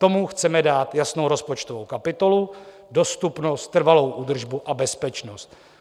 Tomu chceme dát jasnou rozpočtovou kapitolu, dostupnost, trvalou údržbu a bezpečnost.